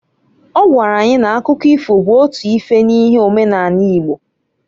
Ọ gwara anyị na-akụkọ ifo bụ otu ife n'ihe omenani Igbo.